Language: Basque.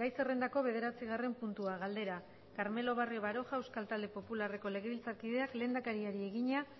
gai zerrendako bederatzigarren puntua galdera carmelo barrio baroja euskal talde popularreko legebiltzarkideak lehendakariari egina